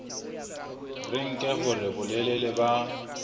re nke hore bolelele ba